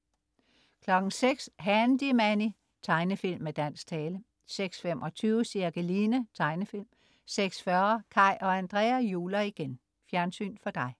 06.00 Handy Manny. Tegnefilm med dansk tale 06.25 Cirkeline. Tegnefilm 06.40 Kaj og Andrea juler igen! Fjernsyn for dig